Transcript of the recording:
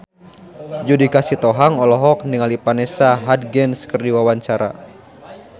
Judika Sitohang olohok ningali Vanessa Hudgens keur diwawancara